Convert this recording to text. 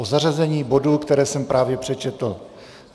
O zařazení bodů, které jsem právě přečetl.